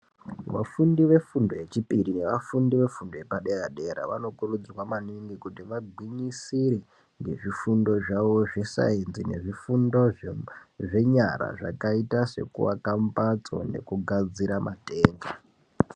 Vafundi vefundo yechipiri nevafundi vefundo yepadera dera vanokurudzirwa maningi kuti vagwinyisire ngezvifundo zvavozvo zvesainzi, nezvifundo zvenyara zvakaite sekuaka mhatso nekugadzira matenga.